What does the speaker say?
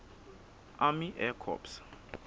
army air corps